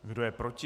Kdo je proti?